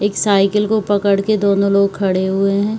एक साइकिल को पड़के दोनों लोग खड़े हुए हैं।